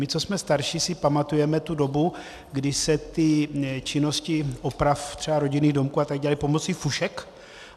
My, co jsme starší, si pamatujeme tu dobu, kdy se ty činnosti oprav třeba rodinných domků a tak dělaly pomocí fušek.